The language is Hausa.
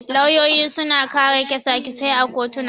Lauyoyi suna kare kyasa-kysasai a kotuna.